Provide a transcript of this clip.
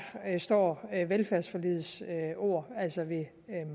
står velfærdsforligets ord altså ved